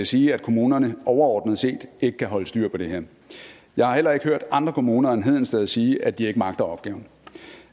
sige at kommunerne overordnet set ikke kan holde styr på det her jeg har heller ikke hørt andre kommuner end hedensted kommune sige at de ikke magter opgaven